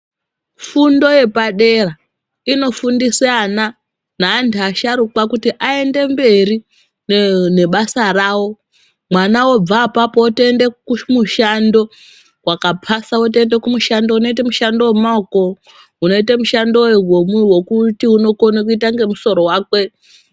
Fundo yepadera inofundise ana neantu asharukwa kuti aende mberi nebasa rawo mwana obva apapo otoende kumushando wakapasa wotoenda kumushando unoite mushando wemaoko unoite mushando wekuti unokwone kuita ngemusoro wakwe.